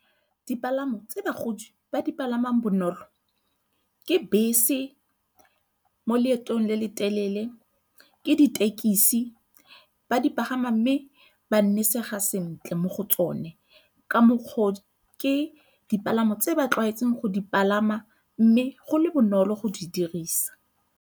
Dipalamo tse bagodi ba dipalamang bonolo ke bese mo leetong le le telele, ke ditekisi ba di pagama mme ba nnisega sentle mo go tsone, ka mokgwa o ke dipalamo tse ba tlwaetseng go di palama mme go le bonolo go di dirisa.